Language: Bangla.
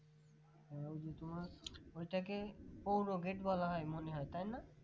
হুম ওই যে তুমার ওটাকে পৌর Gate বলা হয় মনে হয় তাই না